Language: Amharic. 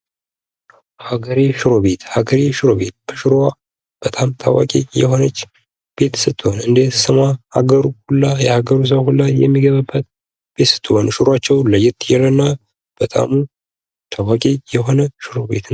ሃገሬ ሽሮ ቤት፤ ሃገሬ ሽሮ በጣም ታዋቂ የሆነች ቤት ስትሆን እንደስሟ ሃገሩ ሁላ፤ የሃገሩ ሰው ሁላ የሚገባባት ቤት ስትሆን ሽሮዋቸውም ለየት ያለ እና በጣም ታዋቂ የሆነ ሽሮ ቤት ነው።